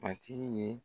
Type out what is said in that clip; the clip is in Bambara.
Matigi ye